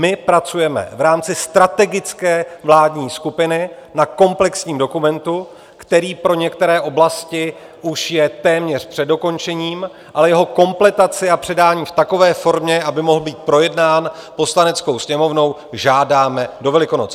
My pracujeme v rámci strategické vládní skupiny na komplexním dokumentu, který pro některé oblasti už je téměř před dokončením, a jeho kompletaci a předání v takové formě, aby mohl být projednán Poslaneckou sněmovnou, žádáme do Velikonoc.